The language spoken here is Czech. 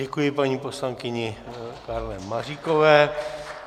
Děkuji paní poslankyni Karle Maříkové.